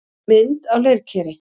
Mynd á leirkeri.